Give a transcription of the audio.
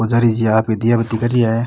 पुजारी जी आ ही दिया बत्ती कर रिया है।